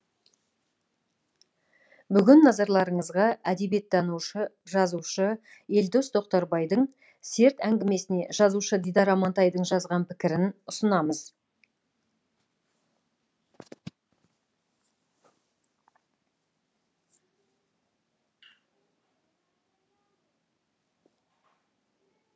бүгін назарларыңызға әдебиеттанушы жазушы елдос тоқтарбайдың серт әңгімесіне жазушы дидар амантайдың жазған пікірін ұсынамыз